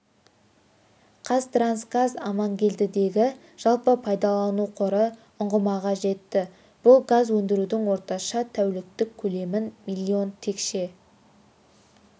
қазтрансгаз амангелдідегі жалпы пайдалану қоры ұңғымаға жетті бұл газ өндірудің орташа тәуліктік көлемін миллион текше